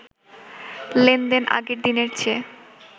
লেনদেন আগের দিনের চেয়ে